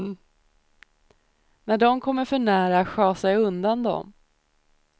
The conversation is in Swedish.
När dom kommer för nära sjasar jag undan dom.